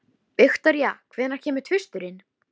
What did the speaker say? Þessi ferð jók því bara enn á vanlíðan mína.